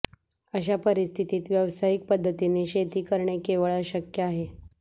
अशा परिस्थितीत व्यावसायिक पद्धतीने शेती करणे केवळ अशक्य आहे